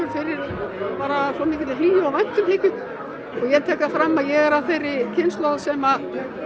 fyrir svo mikilli hlýju og væntumþykju og ég tek það fram að ég er af þeirri kynslóð sem